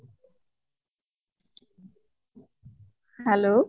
hello